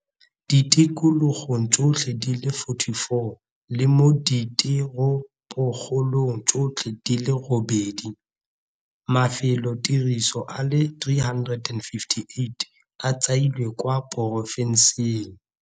ditikologong tsotlhe di le 44 le mo diteropokgolong tsotlhe di le robedi. Mafelotiriso a le 358 a tshwailwe kwa porofenseng ya.